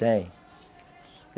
Tem.